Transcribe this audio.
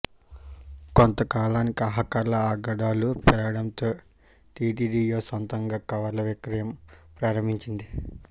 కొంతకాలానికి హాకర్ల ఆగడాలు పెరగడంతో టీటీడీయే సొంతంగా కవర్ల విక్రయం ప్రారంభించింది